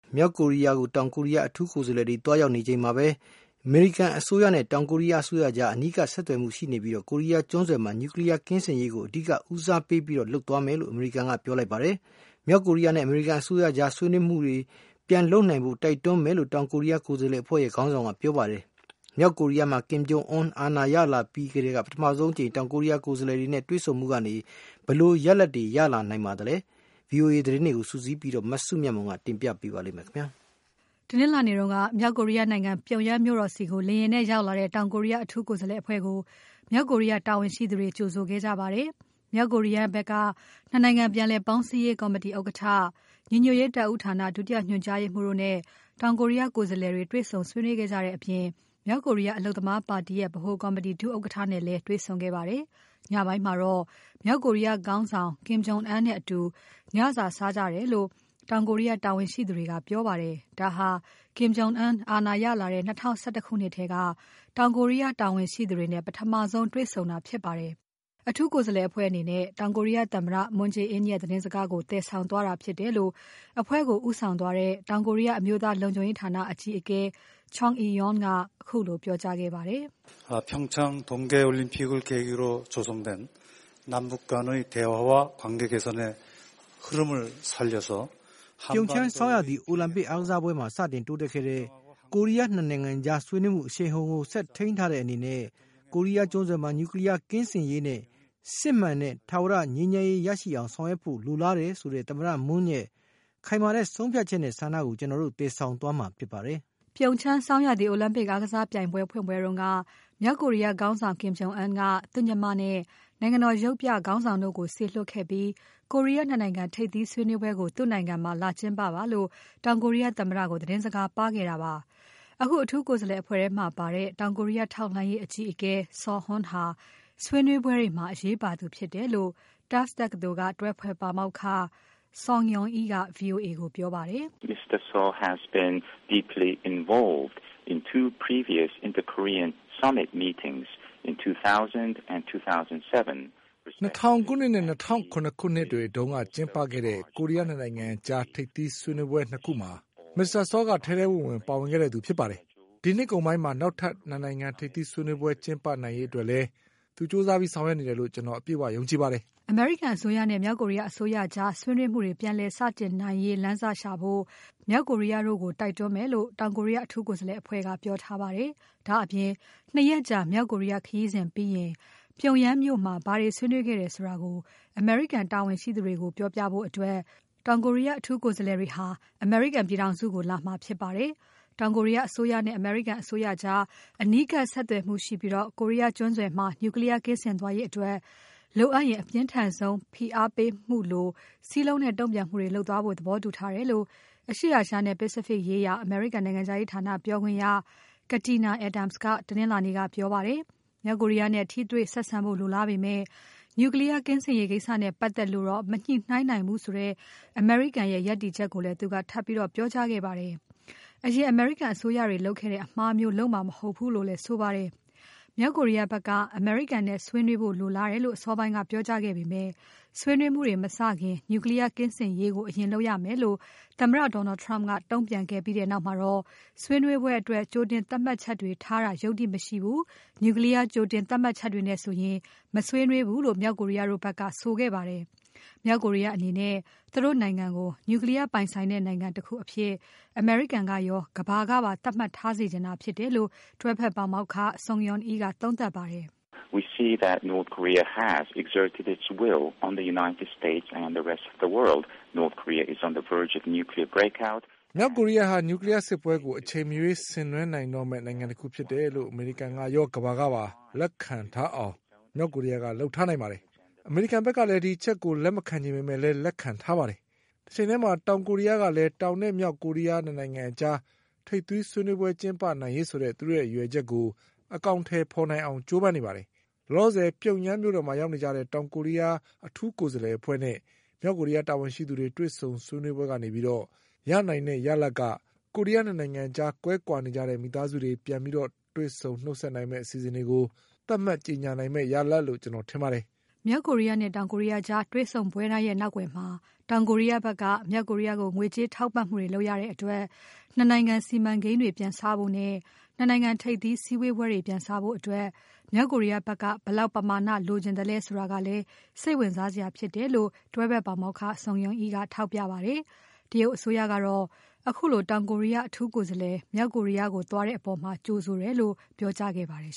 မြောက်ကိုရီးယားကို တောင်ကိုရီးယားအထူးကိုယ်စားလှယ်သွားရောက်နေချိန်မှာပဲ အမေရိကန်အစိုးရနဲ့ တောင်ကိုရီးယားအစိုးရကြား အနီးကပ်ဆက်သွယ်မှုရှိနေပြီး ကိုရီးယားကျွန်းဆွယ်မှာ Nuclear ကင်းစင်ရေးကို အဓိကဦးစားပေးလုပ်သွားမယ်လို့ အမေရိကန်က ပြောလိုက်ပါတယ်။ မြောက်ကိုရီးယားနဲ့ အမေရိကန်အစိုးရကြား ဆွေးနွေးမှုတွေ ပြန်လုပ်နိုင်ဖို့ တိုက်တွန်းမယ်လို့ တောင်ကိုရီးယားကိုယ်စားလှယ်အဖွဲ့ခေါင်းဆောင်က ပြောထားပါတယ်။ မြောက်ကိုရီးယားမှာ Kim Jong Un အာဏာရလာပြီးထဲက ပထမဆုံးအကြိမ် တောင်ကိုရီးယားကိုယ်စားလှယ်တွေနဲ့ တွေ့ဆုံမှုကနေ ဘယ်လိုရလဒ်တွေ ရလာနိုင်ပါသလဲ VOA သတင်းတွေကိုစုစည်းပြီး မစုမြတ်မွန်က တင်ပြပါမယ်။ တနင်္လာနေ့က မြောက်ကိုရီးယားနိုင်ငံပြုံယမ်းမြို့တော်ဆီကို လေယာဉ်နဲ့ရောက်လာတဲ့ တောင်ကိုရီးယားအထူးကိုယ်စားလှယ်အဖွဲ့ကို မြောက်ကိုရီးယား တာဝန်ရှိသူတွေက ကြိုဆိုခဲ့ကြပါတယ်။ မြောက်ကိုရီးယားဖက်က ၂ နိုင်ငံပြန်လည်ပေါင်းစည်းရေးကော်မတီဥက္ကဋ္ဌ၊ ညီညွတ်ရေးတပ်ဦးဌာန ဒုညွှန်ကြားရေးမှူးတို့နဲ့ တောင်ကိုရီးယားကိုယ်စားလှယ်တွေ တွေ့ဆုံဆွေးနွေးခဲ့ကြတဲ့အပြင် မြောက်ကိုရီးယား အလုပ်သမားပါတီရဲ့ ဗဟိုကော်မတီဒုဥက္ကဋ္ဌနဲ့လည်း တေ့ွဆုံခဲ့ကြပါတယ်။ ညပိုင်းမှာတော့ မြောက်ကိုရီးယားခေါင်းဆောင် Kim Jong Un နဲ့အတူ ညစာစားကြတယ်လို့ တောင်ကိုရီးယားတာဝန်ရှိသူတွေက ပြောပါတယ်။ ဒါဟာ Kim Jong Un အာဏာရလာတဲ့ ၂၀၁၁ ခုနှစ်ထဲက တောင်ကိုရီးယားတာဝန်ရှိသူတွေနဲ့ ပထမဆုံး တွေ့ဆုံတာဖြစ်ပါတယ်။ အထူးကိုယ်စားလှယ်အဖွဲ့အနေနဲ့ တောင်ကိုရီးယားသမ္မတ Moon Je-in ရဲ့သတင်းစကားကို သယ်ဆောင်သွားတာဖြစ်တယ်လို့ အဖွဲ့ကိုဦးဆောင်သွားတဲ့ တောင်ကိုရီးယားအမျိုးသားလုံခြုံရေးဌာန အကြီးအကဲ Chung Eui-yong က ခုလိုပြောကြားခဲ့ပါတယ်။ " ပြုံချမ်းဆောင်းရာသီအိုလံပစ်အားကစားပွဲမှာ စတင်တိုးတက်ခဲ့တဲ့ ကိုရီးယား ၂ နိုင်ငံကြားဆွေးနွေးမှုအရှိန်အဟုန်ကို ဆက်ထိမ်းထားတဲ့အနေတဲ့ ကိုရီးယားကျွန်းဆွယ်မှာ Nuclear ကင်းစင်ရေးနဲ့ စစ်မှန်တဲ့ ထာဝရငြိမ်းချမ်းရေးရရှိအောင် ဆောင်ရွက်ဖို့လိုလားတယ်ဆိုတဲ့ သမ္မတ Moon ရဲ့ ခိုင်မာတဲ့ဆုံးဖြတ်ချက်နဲ့ ဆန္ဒကို ကျွန်တော်တို့ သယ်ဆောင်သွားမှာဖြစ်ပါတယ်။" ပြုံချမ်းဆောင်းရာသီအိုလံပစ်အားကစားပွဲဖွင့်ပွဲတုန်းက မြောက်ကိုရီးယားခေါင်းဆောင် Kim Jong Un က သူ့ရဲ့ညီမနဲ့ နိုင်ငံတော် ရုပ်ပြခေါင်းဆောင်တို့ကို စေလွှတ်ခဲ့ပြီး ကိုရီးယား ၂ နိုင်ငံထိပ်သီးဆွေးနွေးပွဲကို သူ့နိုင်ငံမှာလာကျင်းပပါလို့ တောင်ကိုရီးယားသမ္မတကို သတင်းစကားပါးခဲ့တာပါ။ အခု အထူးကိုယ်စားလှယ်အဖွဲ့ထဲမှာပါတဲ့ တောင်ကိုရီးယား ထောက်လှမ်းရေးအကြီးအကဲ Suh Hoon ဟာဆွေးနွေးပွဲတွေမှာ အရေးပါသူဖြစ်တယ်လို့ Tufts တက္ကသိုလ်က တွဲဖက်ပါမောက္ခ Sung Yoon Lee က VOA ကိုပြောပါတယ်။ "၂၀၀၀ ခုနှစ်နဲ့ ၂၀၀၇ ခုနှစ်တွေတုန်းက ကျင်းပခဲ့တဲ့ ကိုရီးယား ၂ နိုင်ငံကြား ထိပ်သီးစည်းဝေးပွဲ ၂ ခုမှာ Mr. Suh က ထဲထဲဝင်ဝင် ပါဝင်ခဲ့သူ ဖြစ်ပါတယ်။ ဒီနှစ်ကုန်ပိုင်းမှာ နောက်ထပ် ၂ နိုင်ငံထိပ်သီးစည်းဝေးပွဲကျင်းပနိုင်ရေးအတွက်လည်း သူကြိုးစားဆောင်ရွက်နေတယ်လို့ ကျွန်တော် အပြည့်အဝ ယုံကြည်ပါတယ်။" အမေရိကန်အစိုးရနဲ့ မြောက်ကိုရီးယားအစိုးရကြား ဆွေးနွေးမှုတွေ ပြန်လည်စတင်နိုင်ရေးလမ်းစရှာဖို့ မြောက်ကိုရီးယားတို့ကို တိုက်တွန်းမယ်လို့ တောင်ကိုရီးယားအထူးကိုယ်စားလှယ်အဖွဲ့က ပြောထားပါတယ်။ ဒါ့အပြင် ၂ ရက်ကြာ မြောက်ကိုရီးယားခရီးစဉ်ပြီးရင် ပြုံယမ်းမြို့မှာ ဘာတွေဆွေးနွေးခဲ့တယ်ဆိုတာကို အမေရိကန်တာဝန်ရှိသူတွေကို ပြောပြဖို့အတွက် တောင်ကိုရီးယား အထူးကိုယ်စားလှယ်တွေဟာ အမေရိကန်ပြည်ထောင်စုကို လာမှာဖြစ်ပါတယ်။ တောင်ကိုရီးယားအစိုးရနဲ့ အမေရိကန်အစိုးရကြား အနီးကပ်ဆက်သွယ်မှုရှိပြီး ကိုရီးယားကျွန်းဆွယ်မှာ Nuclear ကင်းစင်သွားရေးအတွက် လိုအပ်ရင် အပြင်းထန်ဆုံး ဖိအားပေးမှုလို စည်းလုံးတဲ့တုံ့ပြန်မှုတွေလုပ်သွားဖို့ သဘောတူထားတယ်လို့ အရှေ့အာရှနဲ့ Pacific ရေးရာ အမေရိကန်နိုငံခြားရေးဌာနပြောခွင့်ရ Katina Adams က တနင်္လာနေ့က ပြောပါတယ်။ မြောက်ကိုရီးယားနဲ့ ထိတွေ့ဆက်ဆံဖို့ လိုလားပေမယ့် Nuclear ကင်းစင်ရေးကိစ္စနဲ့ပတ်သက်လို့တော့ မညှိုနှိုင်းနိုင်ဘူးဆိုတဲ့ အမေရိကန်ရဲ့ ရပ်တည်ချက်ကိုလည်း သူက ထပ်ပြီး ပြောကြားခဲ့ပါတယ်။ အရင်အမေရိကန် အစိုးရတွေလုပ်ခဲ့တဲ့ အမှားမျိုးလုပ်မှာမဟုတ်ဘူးလို့လည်း ဆိုပါတယ်။ မြောက်ကိုရီယားဖက်က အမေရိကန်နဲ့ ဆွေးနွေးဖို့လိုလားတယ်လို့ အစောပိုင်းက ပြောကြားခဲ့ပေမယ့် ဆွေးနွေးမှုတွေမစခင် Nuclear ကင်းစင်ရေးကို အရင်လုပ်ရမယ်လို့ သမ္မတ Donald Trump ကတုံ့ပြန်ခဲ့ပြီးနောက်မှာတော့ ဆွေးနွေးပွဲအတွက် ကြိုတင်သတ်မှတ်ချက်တွေထားတာ ယုတ္တိမရှိဘူး၊ Nuclear ကြိုတင်သတ်မှတ်ချက်နဲ့ဆိုရင် မဆွေးနွေးဘူးလို့ မြောက်ကိုရီးယားတို့ဖက်က ဆိုခဲ့ပါတယ်။ မြောက်ကိုရီးယားအနေနဲ့ သူတို့နိုင်ငံကို Nuclear ပိုင်ဆိုင်တဲ့နိုင်ငံတခုအဖြစ် အမေရိကန်ကရော ကမ္ဘာကပါ သတ်မှတ်ထားစေချင်တာဖြစ်တယ်လို့ တွဲဖက်ပါမောက္ခ Sung Yoon Lee ကသုံးသပ်ပါတယ်။ " မြောက်ကိုရီးယားဟာ Nuclear စစ်ပွဲကို အချိန်မရွေးဆင်နွဲနိုင်တော့မယ့် နိုင်ငံတခုဖြစ်တယ်လို့ အမေရိကန်ရော ကမ္ဘာကပါလက်ခံထားအောင် မြောက်ကိုရီးယားက လုပ်ထားနိုင်ပါတယ်။ အမေရိကန်ဖက်ကလည်း ဒီအချက်ကို လက်မခံချင်ပေမဲ့ လက်ခံထားပါတယ်။ တချိန်ထဲမှာ တောင်ကိုရီးယားတို့ကလည်း တောင်၊ မြောက်ကိုရီးယားကြား ထိပ်သီးစည်းဝေးပွဲကျင်းပနိုင်ရေးဆိုတဲ့ သူတု့ိရဲ့ရည်ရွယ်ချက်ကို အကောင်အထည်ဖော်နိုင်အောင် ကြိုးစားနေပါတယ်။ လောလောဆယ် ပြုံယမ်းမြို့တော်မှာ ရောက်နေကြတဲ့ တောင်ကိုရီးယား အထူးကိုယ်စားလှယ်အဖွဲ့နဲ့ မြောက်ကိုရီးယားတာဝန်ရှိသူတွေ တေ့ွဆုံဆွေးနွေးပွဲတွေကနေ ရနိုင်တဲ့ရလဒ်ကတော့ ကိုရီးယား ၂ နိုင်ငံကြား ကွဲကွာနေကြတဲ့ မိသားစုတွေ ပြန်လည်တွေ့ဆုံနှုတ်ဆက်နိုင်မယ့် အစီအစဉ်တွေကို သတ်မှတ်ကြေညာနိုင်မယ့် ရလဒ်လို့ ကျွန်တော်ထင်ပါတယ်။" မြောက်ကိုရီးယားနဲ့ တောင်ကိုရီးယားကြား တွေ့ဆုံပွဲတိုင်းရဲ့ နောက်ကွယ်မှာ တောင်ကိုရီးယားဖက်က မြောက်ကိုရီးယားကို ငွေကြေးထောက်ပံ့မှုတွေလုပ်ရတဲ့အတွက် ၂ နိုင်ငံစီမံကိန်းတွေပြန်စဖို့နဲ့ ၂ နိုင်ငံထိပ်သီးစည်းဝေးပွဲတွေပြန်စဖို့အတွက် မြောက်ကိုရီးယားဖက်က ဘယ်လောက်ပမာဏလိုချင်သလဲ ဆိုတာကလည်း စိတ်ဝင်စားစရာဖြစ်တယ်လို့ တွဲဖက်ပါမောက္ခ Sung Yoon Lee က ထောက်ပြပါတယ်။ တရုတ်နိုင်ငံကတော့ ခုလိုတောင်ကိုရီးယား အထူးကိုယ်စားလှယ် မြောက်ကိုရီးယားသွားတဲ့အပေါ် ကြိုဆိုတယ်လို့ ပြောကြားခဲ့ပါတယ်